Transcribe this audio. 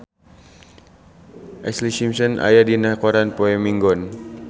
Ashlee Simpson aya dina koran poe Minggon